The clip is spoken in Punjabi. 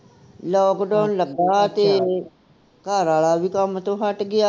lockdown ਲੱਗਾ ਤੇ ਘਰ ਵਾਲਾ ਵੀ ਕੰਮ ਤੋਂ ਹੱਟ ਗਿਆ